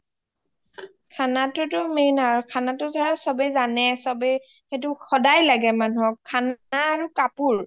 খানা টো টো main আৰু খানা টো টো ছবেই জানেই চবেই সেইটো সদাই লাগে মানুহ হওঁক খানা আৰু কাপোৰ